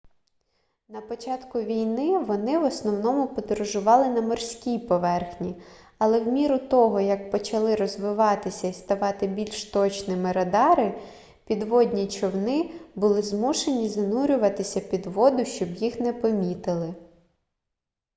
на початку війни вони в основному подорожували на морській поверхні але в міру того як почали розвиватися і ставати більш точними радари підводні човни були змушені занурюватися під воду щоб їх не помітили